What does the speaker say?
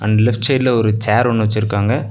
Left சைடுல ஒரு chair ஒன்னு வச்சுருக்காங்க.